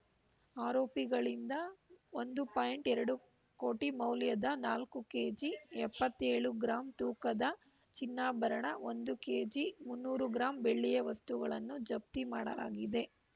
ಆರೋಪಿಗಳಿಂದ ಒಂದು ಪಾಯಿಂಟ್ ಎರಡು ಕೋಟಿ ಮೌಲ್ಯದ ನಾಲ್ಕು ಕೆಜಿ ಎಪ್ಪತ್ತ್ ಏಳು ಗ್ರಾಂ ತೂಕದ ಚಿನ್ನಾಭರಣ ಒಂದು ಕೆಜಿ ಮುನ್ನೂರು ಗ್ರಾಂ ಬೆಳ್ಳಿಯ ವಸ್ತುಗಳನ್ನು ಜಪ್ತಿ ಮಾಡಲಾಗಿದೆ